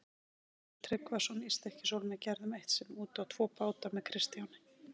Gissur Tryggvason í Stykkishólmi gerðum eitt sinn út tvo báta með Kristjáni.